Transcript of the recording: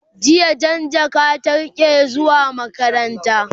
jiya Jan jaka ta rike zuwa makaranta